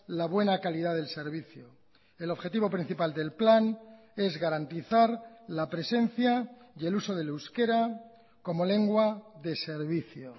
la buena calidad del servicio el objetivo principal del plan es garantizar la presencia y el uso del euskera como lengua de servicio